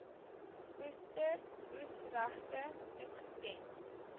oester oesregte toegeken